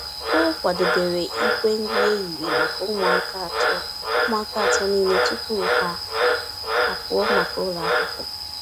O kwadebere igbe nri ehihie maka ụmụaka atọ ụmụaka atọ niile tupu ha apụọ maka ụlọ akwụkwọ.